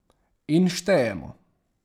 In štejemo.